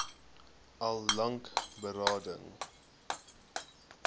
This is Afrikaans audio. al lank berading